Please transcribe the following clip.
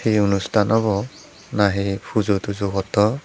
hi anustan obo na hi pujo tujo gotton.